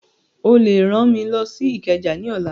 Ó lè rán mi lọ sí Ìkẹjà ní ọ̀la